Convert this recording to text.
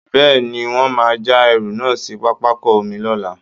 Bẹ́ẹ̀ ni, wọ́n máa já ẹrù náà sí pápákọ̀ omi lọ́la